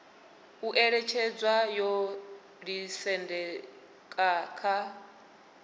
u ṅetshedzwa yo ḓisendeka kha